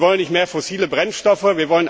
Wir wollen nicht mehr fossile Brennstoffe.